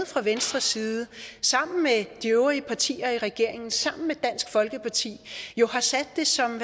fra venstres side sammen med de øvrige partier i regeringen og sammen med dansk folkeparti har sat det som